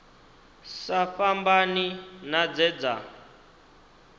sa fhambani na dze dza